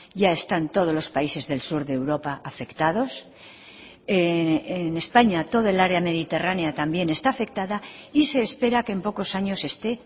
ya están todos los países del sur de europa afectados en españa toda el área mediterránea también está afectada y se espera que en pocos años se esté